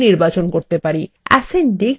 ascending বা ঊর্ধ্বক্রম বিকল্পের উপর ক্লিক করুন